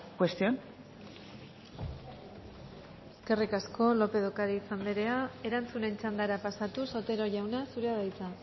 cuestión eskerrik asko lópez de ocariz andrea erantzunen txandara pasatuz otero jauna zure da hitza